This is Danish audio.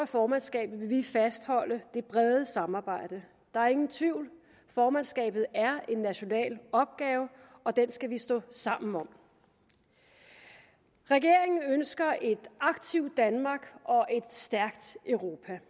formandskabet vil vi fastholde det brede samarbejde der er ingen tvivl formandskabet er en national opgave og den skal vi stå sammen om regeringen ønsker et aktivt danmark og et stærkt europa